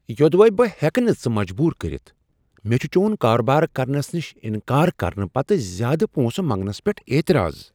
یوٚدوَے بہٕ ہیکہٕ نہ ژٕ مجبور کٔرتھ، مےٚ چھ چون کارٕبار کرنہٕ نش انکار کرنہٕ پتہٕ زیادٕ پونٛسہٕ منٛگنس پیٹھ اعتراض۔